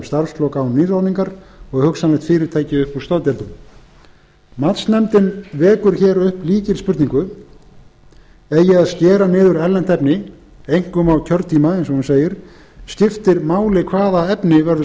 starfslok án nýráðningar og hugsanlegt fyrirtæki upp úr staðgjöldunum matsnefndin vekur hér upp lykilspurningu eigi að skera niður erlent efni einkum á kjörtíma eins og hún segir skiptir máli hvaða efni verður skorið